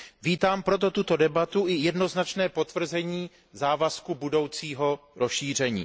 Vítám proto tuto debatu i jednoznačné potvrzení závazku budoucího rozšíření.